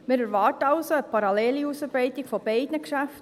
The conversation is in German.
Wir erwarten also eine parallele Ausarbeitung beider Geschäfte.